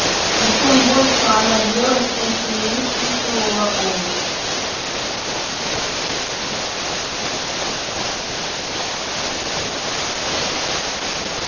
и чем больше она ела тем сильнее чувствовала голод